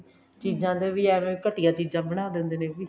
ਚੀਜ਼ਾਂ ਦੇ ਏ ਵੀ ਘਟਿਆ ਚੀਜ਼ਾਂ ਬਣਾ ਦਿੰਦੇ ਨੇ ਇਹ ਵੀ